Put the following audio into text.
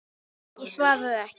Ég svaraði ekki.